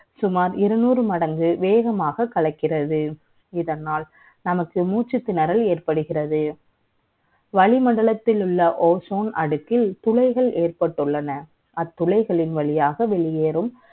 சுமார் இருநூறு மடங்கு வேகமாக கலைக்கிறது இதனால் நமக்கு மூச்சு திணறல் ஏற்படுகிறது வளிமண்டலத்தில் உள்ள Ozone அடுக்கு துளைகள் ஏற்பட்டு உள்ளன அத்துளைகளின் வழியாக வெளியேறும்